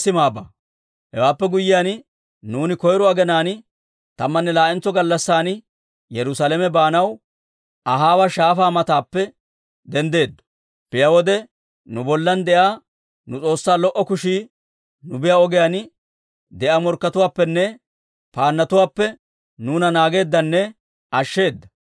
Hewaappe guyyiyaan, nuuni koyro aginaan tammanne laa'entso gallassan Yerusaalame baanaw Ahaawa Shaafaa mataappe denddeeddo. Biyaa wode, nu bollan de'iyaa nu S'oossaa lo"o kushii nu biyaa ogiyaan de'iyaa morkkatuwaappenne paannotuwaappe nuuna naageeddanne ashsheeda.